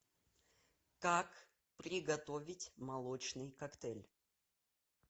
как приготовить молочный коктейль